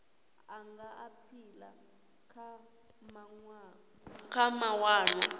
a nga aphila kha mawanwa